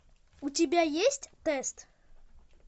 у тебя есть тест